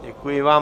Děkuji vám.